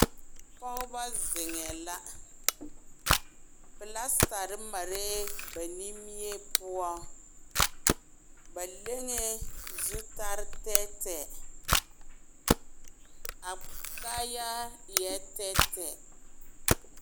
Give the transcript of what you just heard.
pɔgeba zeŋɛ la, plastare mare ba nimie poɔ, ba leŋɛ zutarre tɛɛtɛɛ, a kaayaa eɛ tɛɛtɛɛ.